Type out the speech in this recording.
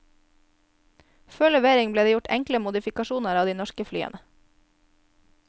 Før levering ble det gjort enkelte modifikasjoner på de norske flyene.